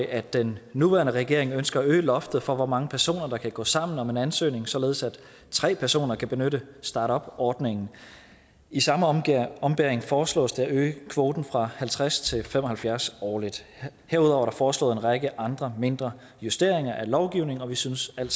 at den nuværende regering ønsker at øge loftet for hvor mange personer der kan gå sammen om en ansøgning således at tre personer kan benytte startupordningen i samme ombæring ombæring foreslås det at øge kvoten fra halvtreds til fem og halvfjerds årligt herudover er der foreslået en række andre mindre justeringer af lovgivningen vi synes at